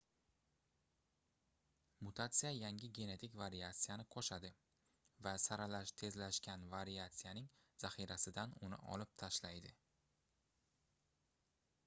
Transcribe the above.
mutatsiya yangi genetik variatsiyani qoʻshadi va saralash tezlashgan variatsiyaning zaxirasidan uni olib tashlaydi